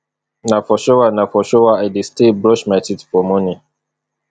na for shower na for shower i dey stay brush my teeth for morning